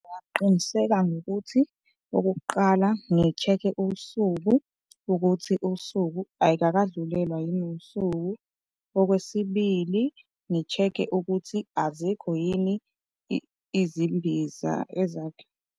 Ngingaqiniseka ngokuthi okokuqala ngi-check-e usuku ukuthi usuku ayikakadlulelwa yini usuku. Okwesibili, ngi-check-e ukuthi azikho yini izimbiza .